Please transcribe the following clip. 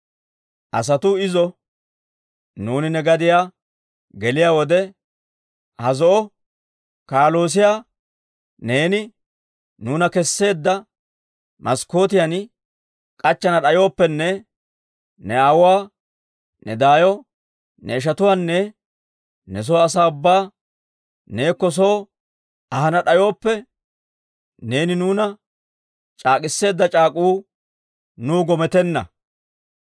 Asatuu izo, «Nuuni ne gadiyaa geliyaa wode, ha zo'o wodoruwaa neeni nuuna kesseedda maskkootiyan k'achchana d'ayooppenne ne aawuwaa, ne daayo, ne ishatuwaanne ne soo asaa ubbaa neekko soo ahana d'ayooppe, neeni nuuna c'aak'k'iseedda c'aak'uu nuw gometenna.